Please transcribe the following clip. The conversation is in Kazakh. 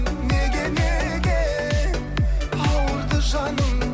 неге неге ауырды жаның